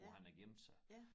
Hvor han har gemt sig